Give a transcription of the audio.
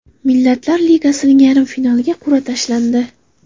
Millatlar Ligasining yarim finaliga qur’a tashlandi.